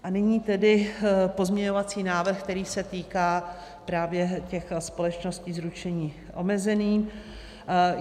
A nyní tedy pozměňovací návrh, který se týká právě těch společností s ručením omezeným.